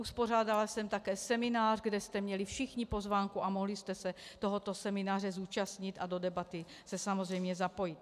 Uspořádala jsem také seminář, kde jste měli všichni pozvánku a mohli jste se tohoto semináře zúčastnit a do debaty se samozřejmě zapojit.